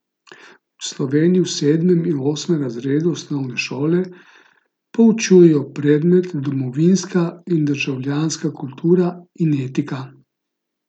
V Sloveniji v sedmem in osmem razredu osnovne šole poučujejo predmet Domovinska in državljanska kultura in etika.